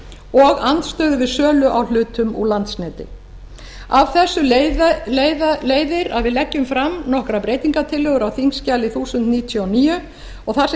og andstöðu við sölu á hlutum úr landsneti af þessu leiðir að við leggjum fram nokkrar breytingartillögur á þingskjali þúsund og níutíu og níu og þar sem